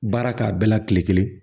Baara k'a bɛɛ la kile kelen